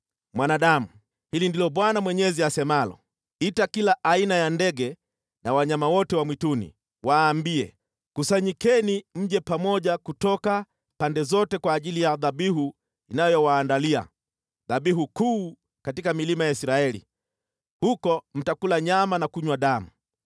“Mwanadamu, hili ndilo Bwana Mwenyezi asemalo: Ita kila aina ya ndege na wanyama wote wa mwituni, waambie: ‘Kusanyikeni mje pamoja kutoka pande zote kwa ajili ya dhabihu ninayowaandalia, dhabihu kuu katika milima ya Israeli. Huko mtakula nyama na kunywa damu.